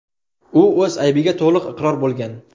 U o‘z aybiga to‘liq iqror bo‘lgan.